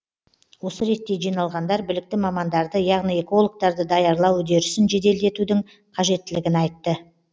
осы ретте жиналғандар білікті мамандарды яғни экологтарды даярлау үдерісін жеделдетудің қажеттілігін айтты